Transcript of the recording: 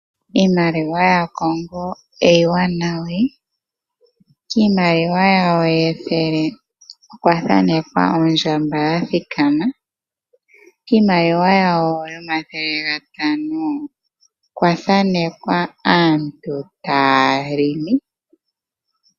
Iimaliwa ya Congo iiwanawa, kiimaliwa yawo yethele okwa thaanekwa ondjamba ya thikama. Kiimaliwa yawo yo mathele gatano okwa thaanekwa aantu taya longo.